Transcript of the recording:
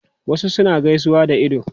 Wasu suna gaisuwa da ido